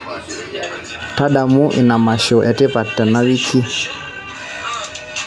tadamu ina masho etipat tena wiki